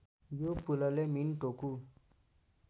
यो पुलले मिनटोकु